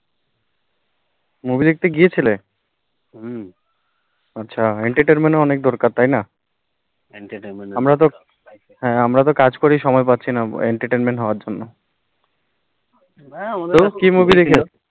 movie দেখতে গিয়েছিলে, হম আচ্ছা entertainment ও অনেক দরকার তাই না, entertainment আমরা তো কাজ করি সময় পাচ্ছিনা entertainment হোবা জন্য তো কি movie দেখলে